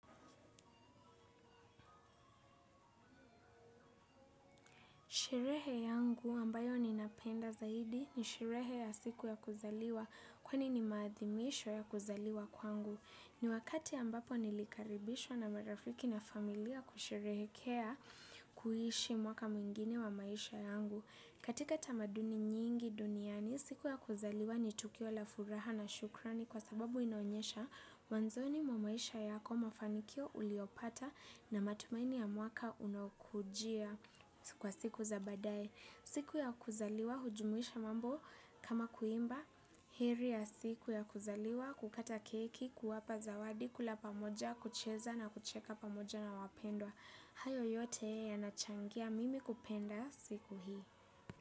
Sherehe yangu ambayo ninapenda zaidi ni sherehe ya siku ya kuzaliwa kwani ni maadhimisho ya kuzaliwa kwangu. Ni wakati ambapo nilikaribishwa na marafiki na familia kusherehekea kuishi mwaka mwingine wa maisha yangu. Katika tamaduni nyingi duniani, siku ya kuzaliwa ni tukio la furaha na shukrani kwa sababu inaonyesha mwanzoni mwa maisha yako mafanikio uliopata na matumaini ya mwaka unaokujia kwa siku za baadaye. Siku ya kuzaliwa, hujumuisha mambo kama kuimba, heri ya siku ya kuzaliwa, kukata keki, kuwapa zawadi, kula pamoja, kucheza na kucheka pamoja na wapendwa. Hayo yote yanachangia mimi kupenda siku hii.